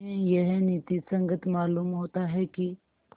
उन्हें यह नीति संगत मालूम होता है कि